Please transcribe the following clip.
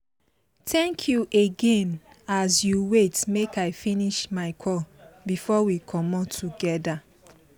thank you again as you wait make i finish my call before we comot together